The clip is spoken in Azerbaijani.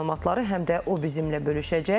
Son məlumatları həm də o bizimlə bölüşəcək.